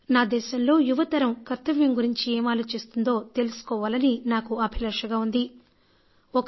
నా దేశంలో యువతరం కర్తవ్యం గురించి ఏం ఆలోచిస్తోందో తెలుసుకోవాలని నేను అనుకుంటున్నాను